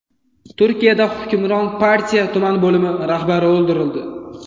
Turkiyada hukmron partiya tuman bo‘limi rahbari o‘ldirildi.